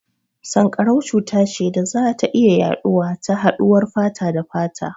Sanƙarau cuta ce da za ta iya yaɗuwa ta haɗuwar fata da fata.